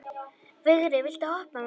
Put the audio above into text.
Vigri, viltu hoppa með mér?